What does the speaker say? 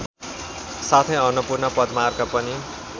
साथै अन्नपूर्ण पदमार्ग पनि